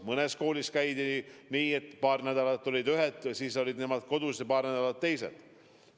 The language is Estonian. Mõnes koolis oli nii, et paar nädalat olid ühed klassid kodus ja paar nädalat teised.